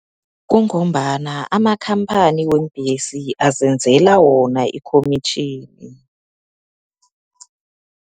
Kungombana, amakhamphani weembhesi azenzela wona ikhomitjhini.